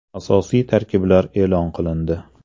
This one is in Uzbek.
Asosiy tarkiblar e’lon qilindi.